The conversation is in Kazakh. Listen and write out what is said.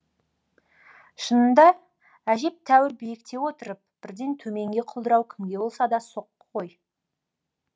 шынында әжептәуір биікте отырып бірден төменге құлдырау кімге болса да соққы ғой